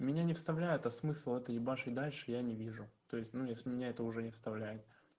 меня не вставляет а смысл это ебашить дальше я не вижу то есть ну если меня это уже не вставляет